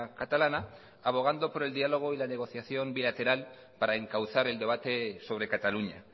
catalana abogando por el diálogo y la negociación bilateral para encauzar el debate sobre cataluña